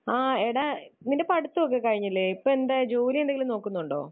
ആ, എടാ നിന്റെ പഠിത്തം ഒക്കെ കഴിഞ്ഞില്ലേ? ഇപ്പൊ എന്താ ജോലി എന്തെങ്കിലും നോക്കുന്നുണ്ടോ?